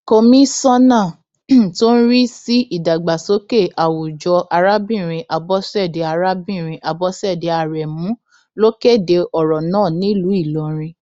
komisanna tó ń rí sí ìdàgbàsókè àwùjọ arábìnrin abọṣẹdé arábìnrin abọṣẹdé aremu ló kéde ọrọ náà nílùú ìlọrin